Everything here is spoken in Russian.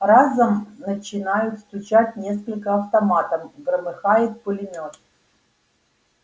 разом начинают стучать несколько автоматов громыхает пулемёт